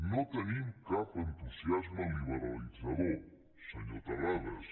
no tenim cap entusiasme liberalitzador senyor terrades